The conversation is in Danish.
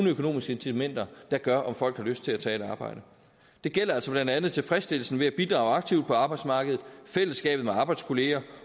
økonomiske incitamenter der gør om folk har lyst til at tage et arbejde det gælder altså blandt andet tilfredsstillelsen ved at bidrage aktivt på arbejdsmarkedet fællesskabet med arbejdskolleger